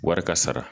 Wari ka sara